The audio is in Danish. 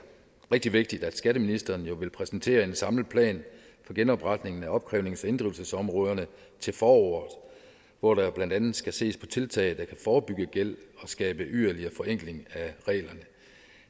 rigtig vigtigt at skatteministeren vil præsentere en samlet plan for genopretningen af opkrævnings og inddrivelsesområderne til foråret hvor der blandt andet skal ses på tiltag der kan forebygge gæld og skabe yderligere forenkling af reglerne